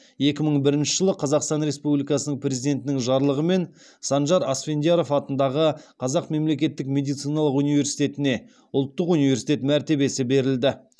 екі мың бірінші жылы қазақстан республикасының президентінің жарлығымен санжар асфендияров атындағы қазақ мемлекеттік медициналық университетіне ұлттық университет мәртебесі берілді